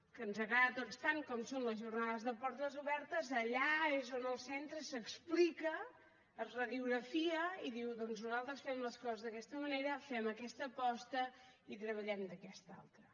que ens agrada a tots tant com són les jornades de portes obertes allà és on el centre s’explica es radiografia i diu doncs nosaltres fem les coses d’aquesta manera fem aquesta aposta i treballem d’aquesta altra